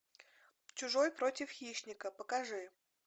чужой против хищника покажи